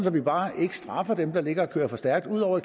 at vi bare ikke straffer dem der ligger og kører for stærkt ud over